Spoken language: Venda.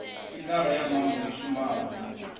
figara ya muambo yo shumaho